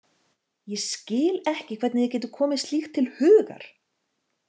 Ég skil ekki hvernig þér getur komið slíkt til hugar!